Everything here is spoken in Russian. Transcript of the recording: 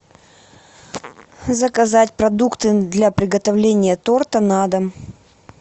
заказать продукты для приготовления торта на дом